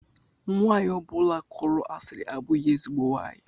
Nwanyi ọbụla kọrọ asiri abụghị ezigbo nwaanyị.